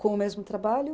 Com o mesmo trabalho?